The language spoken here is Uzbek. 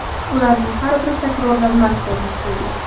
Ularning har biri takrorlanmas ko‘rinishga ega.